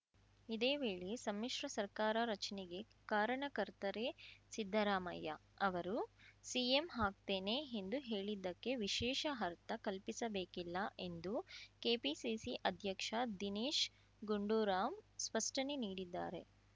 ಇದೇ ವೇಳೆ ಸಮ್ಮಿಶ್ರ ಸರ್ಕಾರ ರಚನೆಗೆ ಕಾರಣಕರ್ತರೇ ಸಿದ್ದರಾಮಯ್ಯ ಅವರು ಸಿಎಂ ಆಗ್ತೇನೆ ಎಂದು ಹೇಳಿದ್ದಕ್ಕೆ ವಿಶೇಷ ಅರ್ಥ ಕಲ್ಪಿಸಬೇಕಿಲ್ಲ ಎಂದು ಕೆಪಿಸಿಸಿ ಅಧ್ಯಕ್ಷ ದಿನೇಶ್‌ ಗುಂಡೂರಾವ್‌ ಸ್ಪಷ್ಟನೆ ನೀಡಿದ್ದಾರೆ